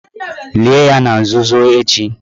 Lie ya na nzuzo echi